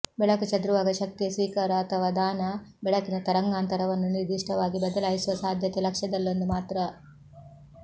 ಬೆಳಕು ಚದುರುವಾಗ ಶಕ್ತಿಯ ಸ್ವೀಕಾರ ಅಥವಾ ದಾನ ಬೆಳಕಿನ ತರಂಗಾಂತರವನ್ನು ನಿರ್ದಿಷ್ಟವಾಗಿ ಬದಲಾಯಿಸುವ ಸಾಧ್ಯತೆ ಲಕ್ಷ್ಯದಲ್ಲೊಂದು ಮಾತ್ರ